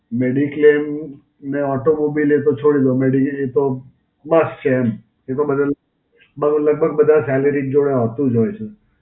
Mediclaim ને Automobile તો છોડી દો. મેડી, એ તો બસ છે એમ. એ તો બધાં, બધાં લગભગ બધાં Salary જોડે આવતું જ હોય છે.